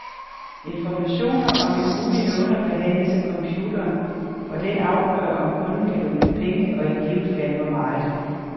Informationer om en mulig låner behandles af computeren, og den afgør, om kunden kan låne penge og i givet fald hvor meget.